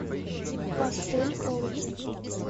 пастель олки